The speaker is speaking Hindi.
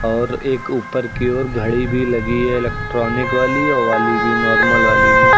और एक ऊपर की ओर घड़ी भी लगी है इलेक्ट्रॉनिक वाली वो वाली भी नॉर्मल वाली भी।